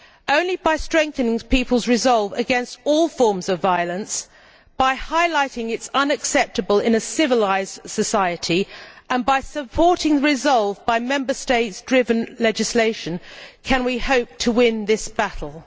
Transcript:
Only by strengthening people's resolve against all forms of violence, by highlighting it as unacceptable in a civilised society, and by supporting that resolve by Member State driven legislation, can we hope to win this battle.